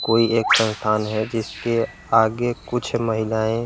कोई एक संस्थान है जिसके आगे कुछ महिलाये --